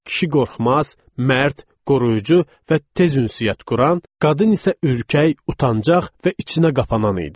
Kişi qorxmaz, mərd, qoruyucu və tez ünsiyyət quran, qadın isə ürkək, utancaq və içinə qapanan idi.